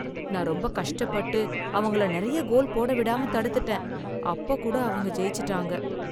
நான் ரொம்ப கஷ்டப்பட்டு, அவங்கள நிறைய கோல் போட விடாம தடுத்துட்டேன், அப்ப கூட அவங்க ஜெயிச்சுட்டாங்க.